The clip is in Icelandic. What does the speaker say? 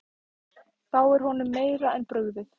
Þá er honum meira en brugðið.